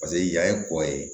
Paseke yan ye kɔ ye